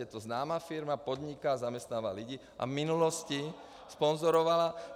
Je to známá firma, podniká, zaměstnává lidi a v minulosti sponzorovala.